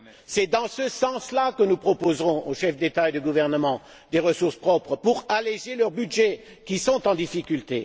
C'est dans ce sens là que nous proposerons aux chefs d'État et de gouvernement des ressources propres, pour alléger leurs budgets qui sont en difficulté.